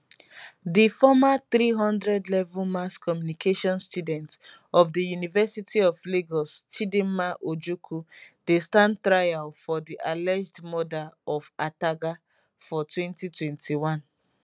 di former 300level mass communication student of di university of lagos chidinma ojukwu dey stand trial for di alleged murder of ataga for 2021